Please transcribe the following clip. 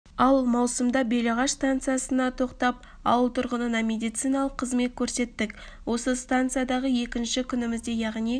ал маусымда белағаш станциясына тоқтап ауыл тұргынына медициналық қызмет көрсеттік осы станциядағы екінші күнімізде яғни